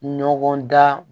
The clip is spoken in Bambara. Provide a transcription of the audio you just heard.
Ɲɔgɔn dan